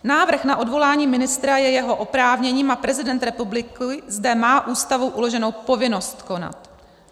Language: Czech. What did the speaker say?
Návrh na odvolání ministra je jeho oprávněním a prezident republiky zde má Ústavou uloženou povinnost konat.